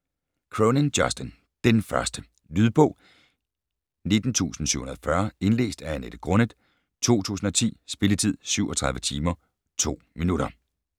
Cronin, Justin: Den første Lydbog 19740 Indlæst af Annette Grunnet, 2010. Spilletid: 37 timer, 2 minutter.